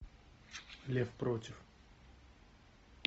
лев против